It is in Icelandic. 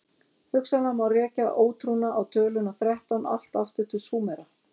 Hugsanlega má rekja ótrúna á töluna þrettán allt aftur til Súmera.